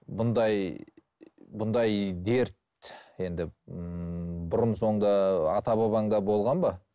бұндай бұндай дерт енді ммм бұрын соңды ата бабаңда болған ба